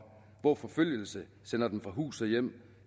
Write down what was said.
hvor forfølgelse sender dem fra hus og hjem